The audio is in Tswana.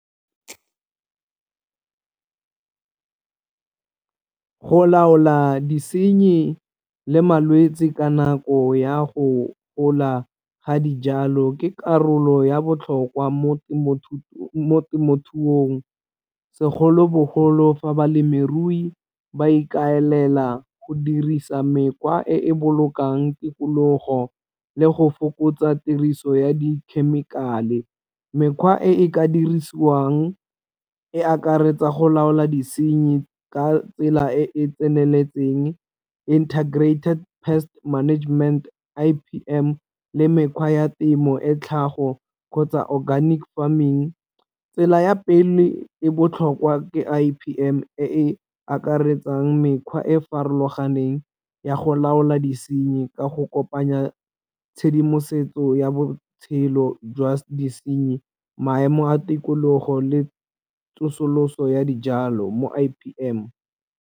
Go laola disenyi le malwetsi ka nako ya go gola ga dijalo ke karolo ya botlhokwa mo temothuong, segolobogolo fa balemirui ba ikaelela go dirisa mekgwa e e bolokang tikologo le go fokotsa tiriso ya di-chemical-e. Mekgwa e e ka dirisiwang e akaretsa go laola disenyi ka tsela e e tseneletseng integrated pest management I_P_M le mekgwa ya temo e tlhago kgotsa organic farming tsela ya pele e botlhokwa ke I_P_M e e akaretsang mekgwa e e farologaneng ya go laola disenyi ka go kopanya tshedimosetso ya botshelo jwa disenyi maemo a tikologo le tsosoloso ya dijalo mo I_P_M.